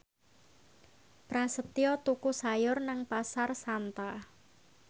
Prasetyo tuku sayur nang Pasar Santa